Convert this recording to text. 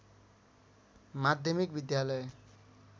माध्यमिक विद्यालय